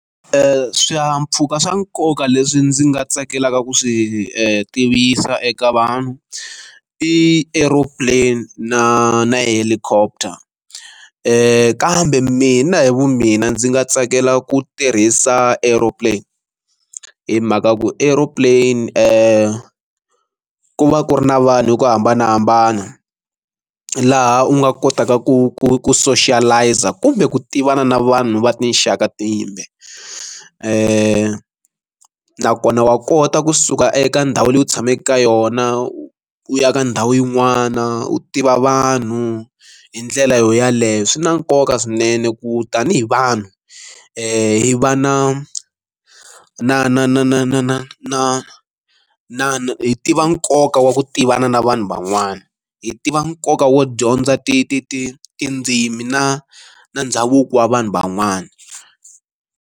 swihahampfhuka swa nkoka leswi ndzi nga tsakelaka ku swi tivisa eka vanhu i aero plane na na helicopter ku kambe mina hi vu mina ndzi nga tsakela ku tirhisa aero plane hi mhaka ku aero plane ku ku va ku ri na vanhu hi ku hambanahambana laha u nga kotaka ku ku ku socialize a kumbe ku tivana na vanhu va tinxaka timbe ni nakona wa kota kusuka eka ndhawu leyi u tshamaka ka yona u ya ka ndhawu yin'wana u tiva vanhu hi ndlela yaleyo swi na nkoka swinene ku tanihi vanhu hi va na na na na na na na na na na hi tiva nkoka wa ku tivana na vanhu van'wana hi tiva nkoka wo dyondza ti ti ti tindzimi na na ndhavuko wa vanhu van'wana.